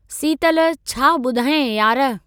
सीतलु छा ॿुधायांइ यार।